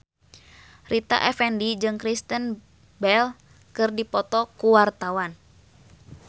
Rita Effendy jeung Kristen Bell keur dipoto ku wartawan